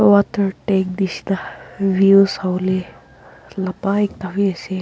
water tank nisna views hoile lopai thaki ase.